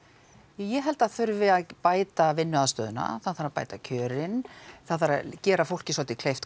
ég held að það þurfi að bæta vinnuaðstöðuna það þarf að bæta kjörin það þarf að gera fólki svolítið kleift